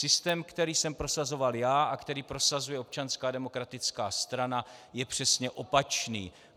Systém, který jsem prosazoval já a který prosazuje Občanská demokratická strana, je přesně opačný.